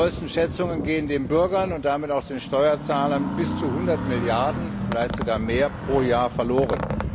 Nach den neuesten Schätzungen gehen den Bürgern und damit auch den Steuerzahlern bis zu 100 Milliarden Euro vielleicht sogar mehr pro Jahr verloren.